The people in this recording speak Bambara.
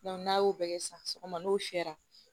n'a y'o bɛɛ kɛ sisan sɔgɔma n'o fiyɛra